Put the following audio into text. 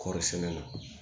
Kɔɔrisɛnɛ na